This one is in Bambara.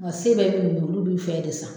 Wa se bɛɛ bɛ minnu ye olu bɛ fɛn de san